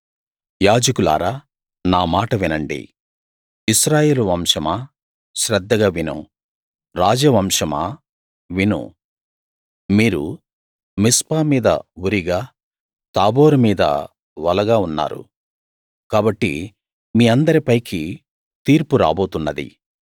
యాజకులారా నామాట వినండి ఇశ్రాయేలు వంశమా శ్రద్ధగా విను రాజ వంశమా విను మీరు మిస్పా మీద ఉరిగా తాబోరు మీద వలగా ఉన్నారు కాబట్టి మీ అందరిపైకీ తీర్పు రాబోతున్నది